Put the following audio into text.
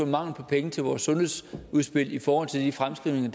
mangel på penge til vores sundhedsudspil i forhold til de fremskrivninger